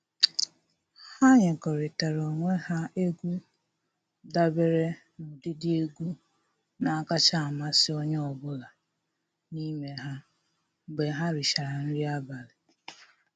Ha nyekọrịtara onwe ha egwu dabere n'ụdịdị egwu na-akacha amasị onye ọbụla n'ime ha mgbe ha richara nri abalị.